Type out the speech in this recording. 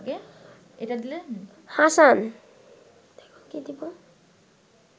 Hasan